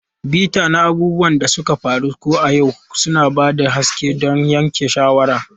Bita na abubuwan da suka faru ko ayyuka, suna ba da haske don yanke shawara.